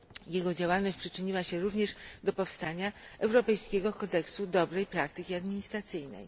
Jego działalność przyczyniła się również do powstania Europejskiego Kodeksu Dobrej Praktyki Administracyjnej.